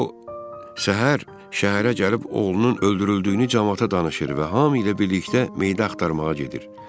O səhər şəhərə gəlib oğlunun öldürüldüyünü camaata danışır və hamı ilə birlikdə meydi axtarmağa gedir.